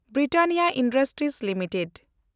Britannia industries limited